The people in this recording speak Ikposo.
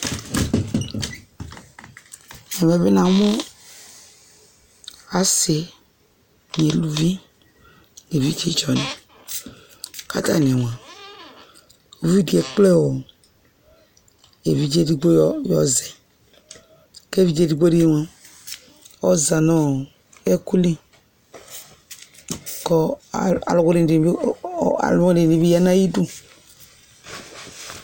Ɛmɛ bi namʋ asi nʋ eluvi nʋ evidze tsɔ ni kʋ atani moa, evidze ekple ɔ evidze ɛdigbo yɔzɛ kʋ evidze ɛdigbo di moa, ɔza nʋ ɔ ɛkʋ li kʋ alʋwini, alʋwini di bi ya nʋ ayidʋ